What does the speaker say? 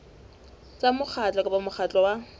tsa mokgatlo kapa mokgatlo wa